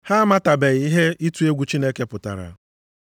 Ha amatabeghị ihe ịtụ egwu Chineke pụtara.” + 3:18 \+xt Abụ 36:1\+xt*